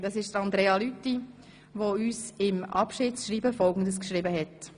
Es handelt sich um Andrea Lüthi, die uns in ihrem Abschiedsschreiben Folgendes geschrieben hat: